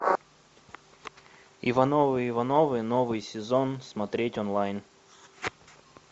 ивановы ивановы новый сезон смотреть онлайн